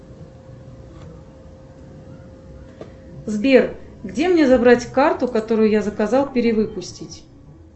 сбер где мне забрать карту которую я заказал перевыпустить